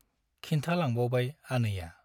खिन्था लांबावबाय आनैया ।